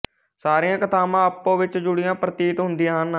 ਸਾਰੀਆਂ ਕਥਾਵਾਂ ਆਪੋ ਵਿੱਚ ਜੁੜੀਆਂ ਪ੍ਰਤੀਤ ਹੁੰਦੀਆਂ ਹਨ